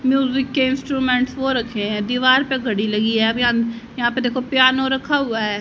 Music के instrument वो रखे हैं दीवार पे घड़ी लगी है आप यहां यहां पे देखो पियानो रखा हुआ है।